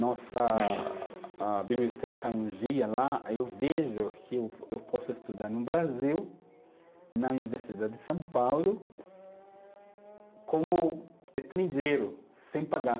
Nossa a biblioteca, um dia lá, aí eu vejo que eu posso estudar no Brasil, na Universidade de São Paulo, como estrangeiro, sem pagar.